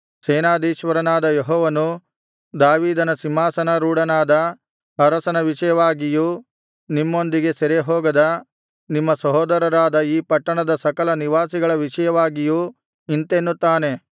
ಸೇನಾಧೀಶ್ವರನಾದ ಯೆಹೋವನು ದಾವೀದನ ಸಿಂಹಾಸನಾರೂಢನಾದ ಅರಸನ ವಿಷಯವಾಗಿಯೂ ನಿಮ್ಮೊಂದಿಗೆ ಸೆರೆಹೋಗದ ನಿಮ್ಮ ಸಹೋದರರಾದ ಈ ಪಟ್ಟಣದ ಸಕಲ ನಿವಾಸಿಗಳ ವಿಷಯವಾಗಿಯೂ ಇಂತೆನ್ನುತ್ತಾನೆ